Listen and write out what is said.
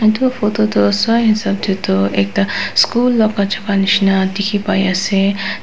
etu photo du so and so deh du ekta school laga jaga nishi na dikhi pai asey--